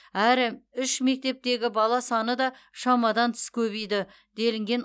әрі үш мектептегі бала саны да шамадан тыс көбейді делінген